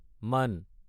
মান